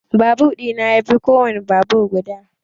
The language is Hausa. Babur ɗina yafi kowan babur gudu.